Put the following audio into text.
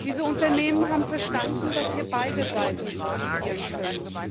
Diese Unternehmen haben verstanden, dass hier beide Seiten profitieren können.